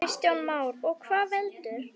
Kristján Már: Og hvað veldur?